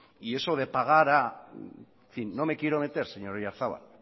y eso de pagar a en fin no me quiero meter señor oyarzabal